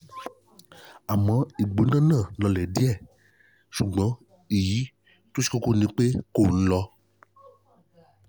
àmọ̀ ìgbóná náà náà le lọlẹ̀ díẹ̀ ṣùgbọ́n èyí tó ṣe kókó ni pé kò nih lọ